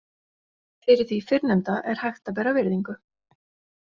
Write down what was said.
Fyrir því fyrrnefnda er hægt að bera virðingu.